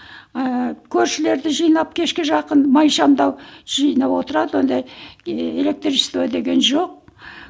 ыыы көршілерді жинап кешке жақын май шамды жинап отырады ондай электричество деген жоқ